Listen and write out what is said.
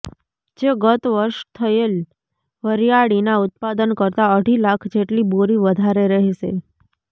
જે ગત વર્ષ થયેલ વરિયાળીના ઉત્પાદન કરતા અઢી લાખ જેટલી બોરી વધારે રહેશે